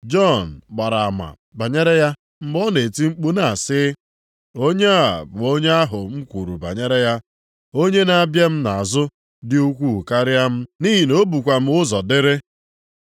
Jọn gbara ama banyere ya mgbe ọ na-eti mkpu na-asị, “Onye a bụ onye ahụ m kwuru banyere ya, ‘Onye na-abịa m nʼazụ dị ukwuu karịa m, nʼihi na o bukwa m ụzọ dịrị.’ ”